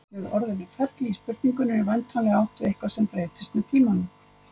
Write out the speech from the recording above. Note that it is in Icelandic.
Með orðinu ferli í spurningunni er væntanlega átt við eitthvað sem breytist með tímanum.